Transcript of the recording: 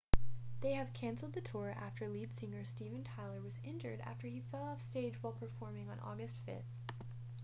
they have cancelled the tour after lead singer steven tyler was injured after he fell off stage while performing on august 5